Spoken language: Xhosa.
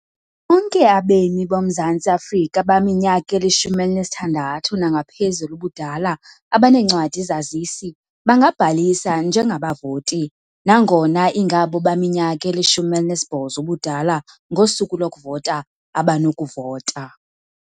Bonke abemi boMzantsi Afrika abaminyaka ili-16 nangaphezulu ubudala abaneencwadi-zazisi bangabhalisa njengabavoti, nangona ingabo baminyaka ili-18 ubudala ngosuku lokuvota abanokuvota.